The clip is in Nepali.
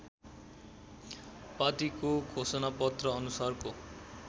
पाटीको घोषणापत्र अनुसारको